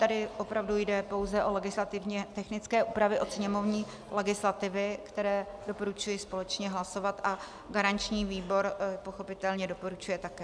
Tady opravdu jde pouze o legislativně technické úpravy od sněmovní legislativy, které doporučuji společně hlasovat, a garanční výbor pochopitelně doporučuje také.